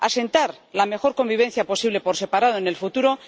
asentar la mejor convivencia posible por separado en el futuro